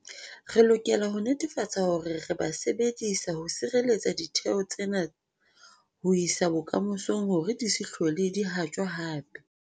Re lokela ho netefatsa hore re ba sebedisa ho sireletsa ditheo tsena ho isa bokamosong hore di se hlole di haptjwa hape.